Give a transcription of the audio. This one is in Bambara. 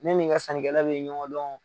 Ne nin n ka sannikɛla bi ɲɔgɔn dɔn